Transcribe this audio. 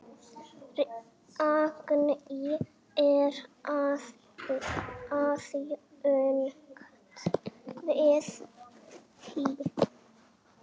Ragný er aðjunkt við HÍ.